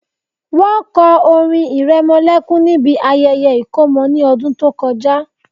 Wọ́n kọ orin ìrẹmọlẹ́kún níbi ayẹyẹ ìkómọ ní ọdún tó kọjá